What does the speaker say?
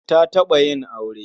Ta taɓa yin aure.